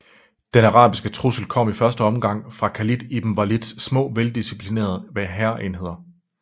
Den arabiske trussel kom i første omgang fra Khalid ibn Walids små veldisciplinerede hærenheder